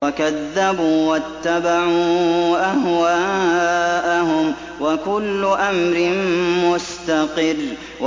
وَكَذَّبُوا وَاتَّبَعُوا أَهْوَاءَهُمْ ۚ وَكُلُّ أَمْرٍ مُّسْتَقِرٌّ